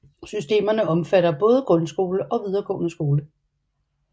Systemerne omfatter både grundskole og videregående skole